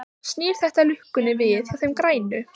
Snýr þetta lukkunni við hjá þeim grænu?